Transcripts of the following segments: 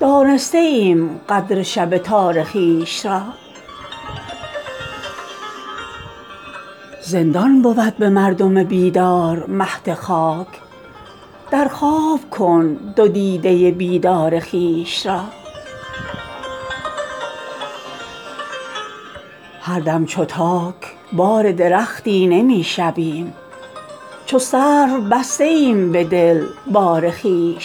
دانسته ایم قدر شب تار خویش را زندان بود به مردم بیدار مهد خاک در خواب کن دو دیده بیدار خویش را نادیدنی است صورت بی معنی جهان روشن مساز آینه تار خویش را هر دم چو تاک بار درختی نمی شویم چون سرو بسته ایم به دل بار خویش را چون صبح داده ایم به یک جرعه شفق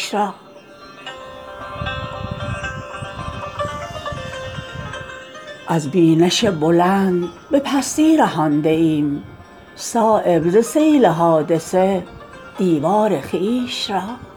خندان به پیر میکده دستار خویش را اظهار فقر پیش فرومایگان مکن پوشیده دار گوهر شهوار خویش را هرگز چنان نشد که توانیم فرق کرد از رشته های زلف دل زار خویش را در زیر خاک و گرد کسادی نهفته ایم از چشم خلق گوهر شهوار خویش را از بینش بلند به پستی رهانده ایم صایب ز سیل حادثه دیوار خویش را